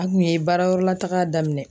A kun ye baarayɔrɔlataga daminɛ